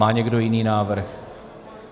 Má někdo jiný návrh?